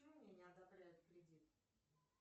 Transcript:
почему мне не одобряют кредит